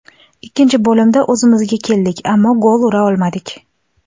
Ikkinchi bo‘limda o‘zimizga keldik, ammo gol ura olmadik.